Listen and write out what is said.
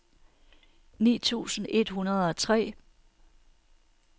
ni tusind et hundrede og tre